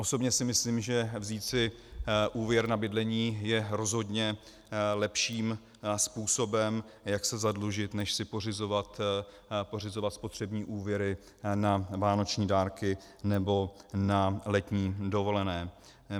Osobně si myslím, že vzít si úvěr na bydlení je rozhodně lepším způsobem, jak se zadlužit, než si pořizovat spotřební úvěry na vánoční dárky nebo na letní dovolené.